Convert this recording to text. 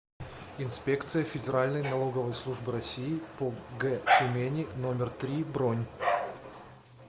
инспекция федеральной налоговой службы россии по г тюмени номер три бронь